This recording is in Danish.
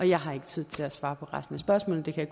jeg har ikke tid til at svare på resten af spørgsmålet det